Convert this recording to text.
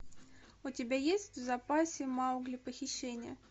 у тебя есть в запасе маугли похищение